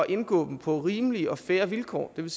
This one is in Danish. indgå dem på rimelige og fair vilkår det vil